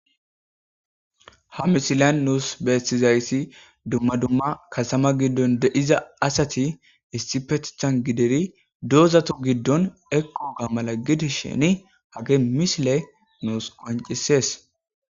Hamisilan nuus beettizayssi dumma dumma kasama giddon deiiza asati istipetthan gideri doozato giddon eqqoga mala gidi sheni hage misile nuus qoncisees.